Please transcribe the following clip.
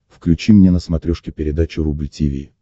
включи мне на смотрешке передачу рубль ти ви